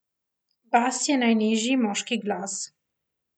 Bas je najnižji moški glas.